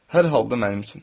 Hər halda mənim üçün.